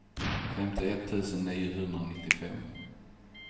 femtioett tusen niohundranittiofem